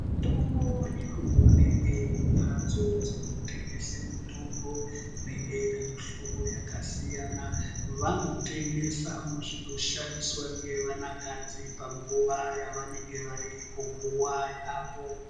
Mitombo inoonekwe kumhatso dzinotengese mitombo inenge ine mihlobo yakasiyana. Vanotengesavo zvinoshandiswa ngevana kadzi panguva yavanenge variko nguva yavo.